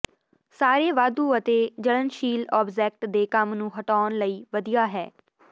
ਸਾਰੇ ਵਾਧੂ ਅਤੇ ਜਲਣਸ਼ੀਲ ਆਬਜੈਕਟ ਦੇ ਕੰਮ ਨੂੰ ਹਟਾਉਣ ਲਈ ਵਧੀਆ ਹੈ